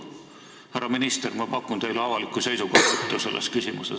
" Härra minister, ma pakun teile avalikku seisukohavõttu selles küsimuses.